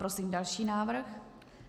Prosím další návrh.